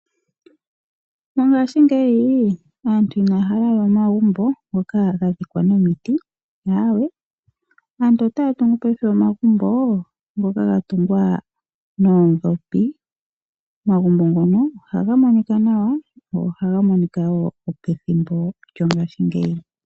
Mongashingeyi aantu inaya hala we omagumbo ngoka gadhikwa nomiti aawe aantu otaa tungu paife omagumbo ngoka gatungwa noodhopi .Omagumbo ngono ohaga monikwa nawa , go ohaga monika wo ngo pethimbo lyongashingeyi.